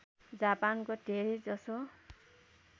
जापानको धेरै जसो